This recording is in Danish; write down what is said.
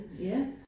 Ja